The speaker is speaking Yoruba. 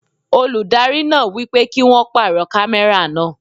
Olùdarí náà wípé kí won pàrọ̀ kámẹ́rà náà.